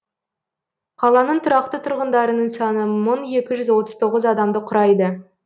қаланың тұрақты тұрғындарының саны мың екі жүз отыз тоғыз адамды құрайды